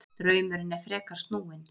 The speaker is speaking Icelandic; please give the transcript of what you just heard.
Draumurinn er frekar snúinn.